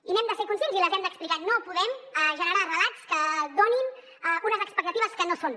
i n’hem de ser conscients i les hem d’explicar no podem generar relats que donin unes expectatives que no són